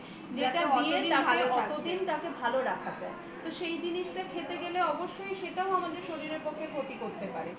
যেটা দিয়ে তাকে অতদিন তাকে ভালো রাখা যায় সেই জিনিসটা খেতে গেলে অবশ্যই সেটাও আমাদের শরীরের ভেতর ক্ষতি করতে পারে